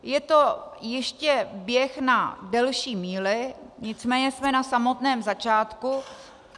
Je to ještě běh na delší míli, nicméně jsme na samotném začátku.